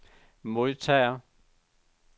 modtager